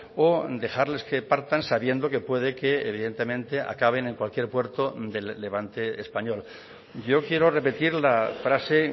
o dejarles que partan sabiendo que puede que evidentemente acaben en cualquier puerto del levante español yo quiero repetir la frase